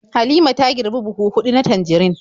Halima ta girbi buhu huɗu na tanjarin.